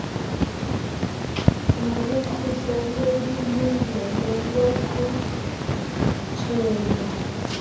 nolukhuselwe lilungelo lokhutshelo